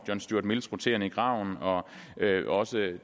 john stuart mills roteren i graven og også